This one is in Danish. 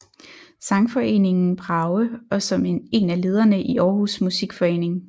Sangforeningen Brage og som en af lederne i Aarhus Musikforening